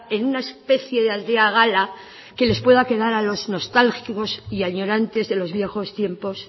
en una especie de aldea gala que les pueda quedar a los nostálgicos y añorantes de los viejos tiempos